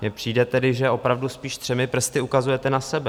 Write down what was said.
Mně přijde tedy, že opravdu spíš třemi prsty ukazujete na sebe.